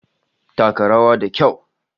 Taka rawa da kyau!